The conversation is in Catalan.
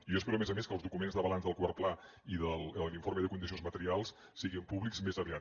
i jo espero a més a més que els documents de balanç del quart pla i de l’informe de condicions materials siguin públics més aviat